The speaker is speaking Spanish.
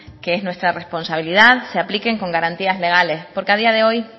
que es nuestra responsabilidad se apliquen con garantías legales porque a día de hoy